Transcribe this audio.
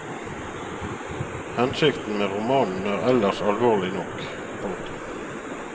Hensikten med romanen er ellers alvorlig nok. punktum